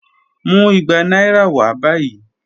Mu igba naira wa bayi.